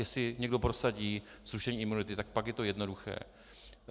Jestli někdo prosadí zrušení imunity, tak pak je to jednoduché.